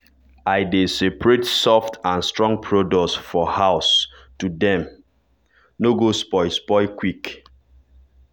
i dey separate soft and strong produce for house to dem no go spoil spoil quick.